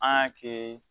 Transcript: An y'a kɛ